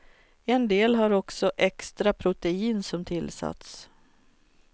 En del har också extra protein som tillsats.